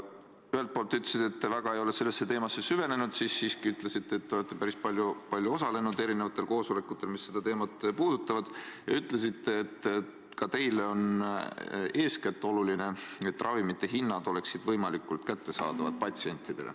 Ühelt poolt te ütlesite, et te väga ei ole sellesse teemasse süvenenud, siis siiski ütlesite, et olete päris palju osalenud koosolekutel, mis seda teemat puudutavad, ja ütlesite, et ka teile on oluline eeskätt see, et ravimid oleksid patsientidele hinna poolest võimalikult kättesaadavad.